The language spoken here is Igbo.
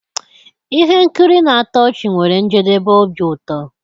Ihe nkiri na-atọ ọchị nwere njedebe obi ụtọ.